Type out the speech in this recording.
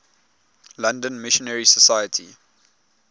london missionary society